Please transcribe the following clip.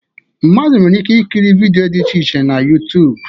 Mmadụ nwere ike ikiri vidịo dị iche iche na YuTuub